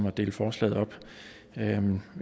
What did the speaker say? at dele forslaget op